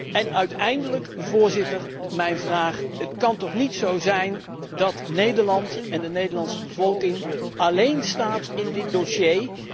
En uiteindelijk, Voorzitter, mijn vraag het kan toch niet zo zijn dat Nederland en de Nederlandse bevolking alleen staan in dit dossier?